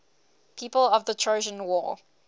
people of the trojan war